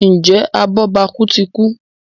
Njé abobaku tí kú?